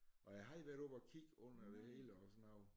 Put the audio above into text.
Og jeg havde været oppe at kigge under det hele og sådan noget